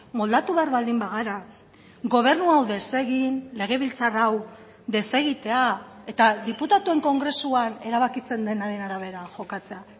moldatu behar baldin bagara gobernu hau desegin legebiltzar hau desegitea eta diputatuen kongresuan erabakitzen denaren arabera jokatzea